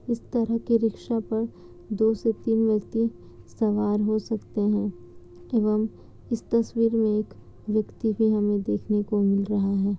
इस तरह के रिक्शा पे दो से तीन व्यक्ति सवार हो सकते है एवं इस तस्वीर में एक व्यक्ति भी हमें देखने को मिल रहा है।